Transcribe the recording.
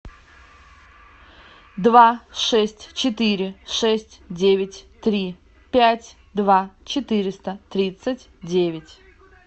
два шесть четыре шесть девять три пять два четыреста тридцать девять